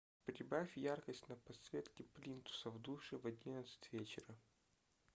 прибавь яркость на подсветке плинтуса в душе в одиннадцать вечера